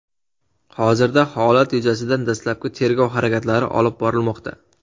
Hozirda holat yuzasidan dastlabki tergov harakatlari olib borilmoqda.